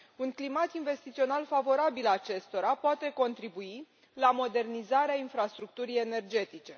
Un climat investițional favorabil acestora poate contribui la modernizarea infrastructurii energetice.